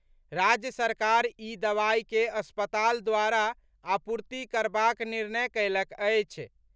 राज्य सरकार ई दवाई के अस्पताल द्वारा आपूर्ति करबाक निर्णय कयलक अछि।